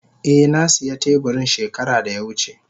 Eh na siya teburin shekara da ya wuce.